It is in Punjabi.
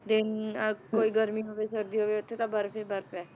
ਦਿਨ ਅਹ ਕੋਈ ਗਰਮੀ ਹੋਵੇ ਸਰਦੀ ਹੋਵੇ ਉੱਥੇ ਤਾਂ ਬਰਫ਼ ਹੀ ਬਰਫ਼ ਹੈ,